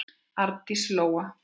Arndís Lóa.